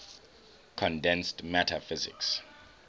condensed matter physics